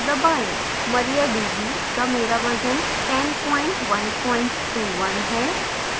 mariadb का मेरा version 10121 है